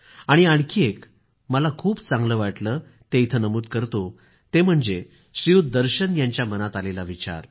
आणि आणखी एक मला खूप चांगलं वाटलं ते इथं नमूद करतो ते म्हणजे श्रीयुत दर्शन यांच्या मनात आलेला विचार